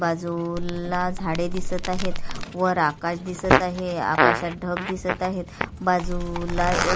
बाजूला झाडे दिसत आहेत वर आकाश दिसत आहे आकाशात ढग दिसत आहेत बाजूला येक--